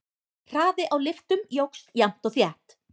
Hraði á lyftum jókst jafnt og þétt.